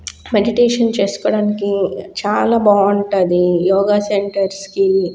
meditation చేసుకోడానికి చాల బాగుంటది యోగ సెంటర్స్ కి --